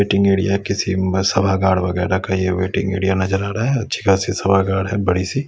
Waiting area किसी सभागार वगैरा का ये वेटिंग एरिया नजर आ रहा है अच्छी खासी सभागार है बड़ी सी।